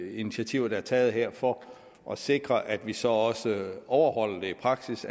initiativer der er taget her for at sikre at vi så også overholder det i praksis